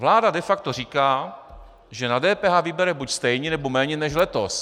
Vláda de facto říká, že na DPH vybere buď stejně, nebo méně než letos.